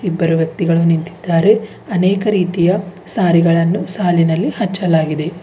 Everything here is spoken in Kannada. ಇಬ್ಬರು ವ್ಯಕ್ತಿಗಳು ನಿಂತಿದ್ದಾರೆ ಅನೇಕ ರೀತಿಯ ಸಾರಿಗಳನ್ನು ಸಾಲಿನಲ್ಲಿ ಹಚ್ಚಲಾಗಿದೆ.